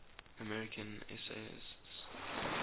american essayists